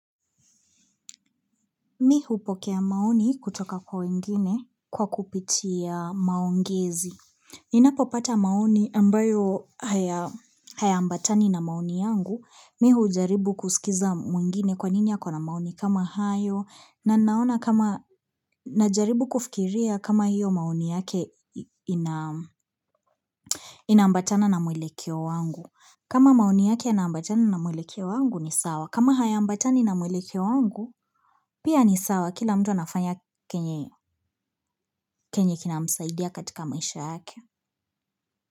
Mimi hupokea maoni kutoka kwa wengine kwa kupitia maongezi. Ninapopata maoni ambayo hayaambatani na maoni yangu. Mimi hujaribu kusikiza mwingine kwa nini yako na maoni kama hayo. Na naona kama najaribu kufikiria kama hiyo maoni yake inambatana na muelekeo wangu. Kama maoni yake inambatana na mwile kio wangu ni sawa. Kama hayaambatani na muelekeo wangu, pia ni sawa. Kila mtu anafanya chenye kinamsaidia katika maisha yake.